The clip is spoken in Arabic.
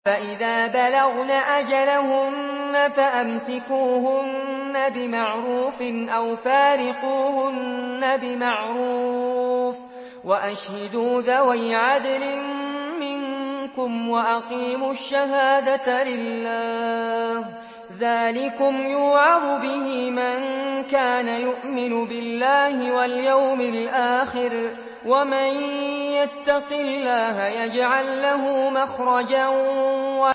فَإِذَا بَلَغْنَ أَجَلَهُنَّ فَأَمْسِكُوهُنَّ بِمَعْرُوفٍ أَوْ فَارِقُوهُنَّ بِمَعْرُوفٍ وَأَشْهِدُوا ذَوَيْ عَدْلٍ مِّنكُمْ وَأَقِيمُوا الشَّهَادَةَ لِلَّهِ ۚ ذَٰلِكُمْ يُوعَظُ بِهِ مَن كَانَ يُؤْمِنُ بِاللَّهِ وَالْيَوْمِ الْآخِرِ ۚ وَمَن يَتَّقِ اللَّهَ يَجْعَل لَّهُ مَخْرَجًا